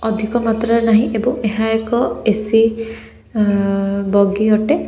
ଅଧିକ ମାତ୍ରାରେ ନାହିଁ ଏବଂ ଏହା ଏକ ଏ_ସି ବଗି ଅଟେ।